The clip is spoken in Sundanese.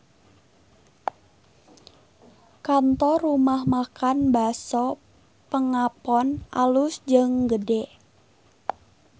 Kantor Rumah Makan Bakso Pengapon alus jeung gede